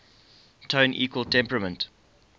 tone equal temperament